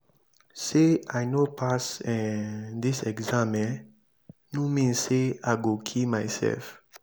sey i no pass um dis exam um no mean sey i go kill mysef.